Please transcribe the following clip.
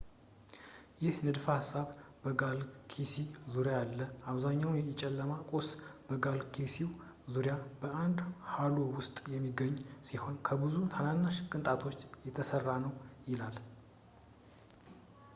ይህ ንድፈ-ሀሳብ በጋላክሲ ዙሪያ ያለው አብዛኛው የጨለማ ቁስ በጋላክሲው ዙሪያ በአንድ ሃሎ ውስጥ የሚገኝ ሲሆን ከብዙ ትናንሽ ቅንጣቶች የተሠራ ነው ይላል